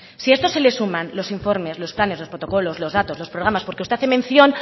si a esto se le suman los informes los planes los protocolos los datos los programas porque se hace mención